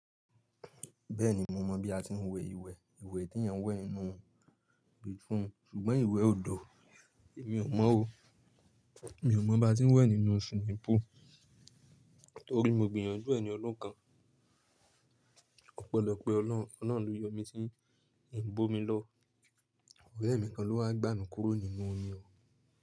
Bẹ́ẹ̀ni mo mọ̀ bí a ti ń wẹ ìwẹ̀. Ìwẹ̀ tí èèyàn ń wẹ̀ nínú bathroom, ṣùgbọ́n ìwẹ̀ òdo èmi ò mọ̀ o. Èmi ò mọ̀ bá ti ń wẹ̀ nínú swimming pool. Torí mo gbìyànjú ẹ̀ ni ọdun kan. Ó pẹ́lọ́pẹ́ Ọlọ́run ló yọ mí tí ń bò mí lọ. Ọ̀rẹ́ mi kan ló wá gbà mí kúrò nínú omi o.